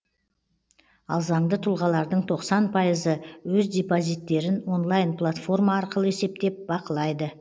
ал заңды тұлғалардың тоқсан пайызы өз депозиттерін онлайн платформа арқылы есептеп бақылайды